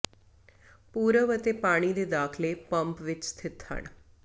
ਪੂਰਬ ਅਤੇ ਪਾਣੀ ਦੇ ਦਾਖਲੇ ਪੰਪ ਵਿੱਚ ਸਥਿਤ ਹਨ